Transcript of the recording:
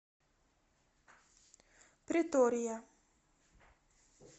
претория